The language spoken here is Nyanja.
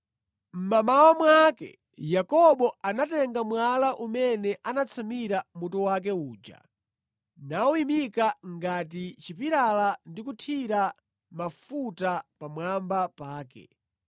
Mmamawa mwake Yakobo anatenga mwala umene anatsamira mutu wake uja nawuyimika ngati chipilala ndi kuthira mafuta pamwamba pake